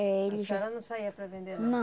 É, ele. A senhora não saía para vender não? Não